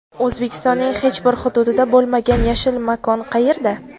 O‘zbekistonning hech bir hududida bo‘lmagan yashil makon qayerda?.